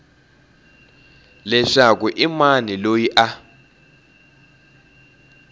leswaku i mani loyi a